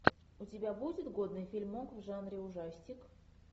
у тебя будет годный фильмок в жанре ужастик